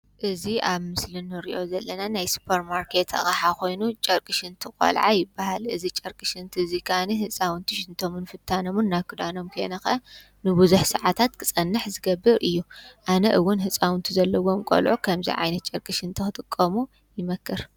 እዚ ኣብ ምስሊ እንሪኦ ዘለና ናይ ስፖር ማርኬት ኣቕሓ ኮይኑ ጨርቂ ሽንቲ ቆልዓ ይበሃል። እዚ ጨርቂ ሽንቲ እዙይ ከዓነየ እህፃውንቲ ሽንቶምን ፍታኖምን ናብ ክዳኖም ከይነከኣ ንቡዙሕ ሰዓታት ክፀንሕ ዝገብር እዩ። ኣነ እውን ህፃውቲ ዘለውዎም ቆልዑ ክምዚ ጨርቂ ሽንቲ ክጥቀሙ ይመክር።